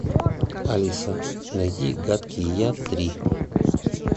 алиса найди гадкий я три